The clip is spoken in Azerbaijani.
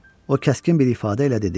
O kəskin bir ifadə ilə dedi: